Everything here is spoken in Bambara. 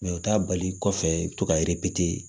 u t'a bali kɔfɛ i bɛ to ka